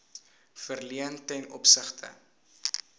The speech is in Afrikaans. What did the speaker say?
verleen ten opsigte